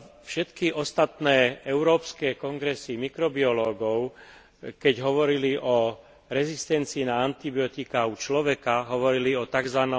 Všetky ostatné európske kongresy mikrobiológov, keď hovorili o rezistencii na antibiotiká u človeka, hovorili o tzv.